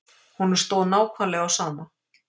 Honum stóð nákvæmlega á sama.